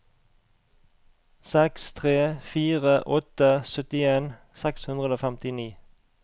seks tre fire åtte syttien seks hundre og femtini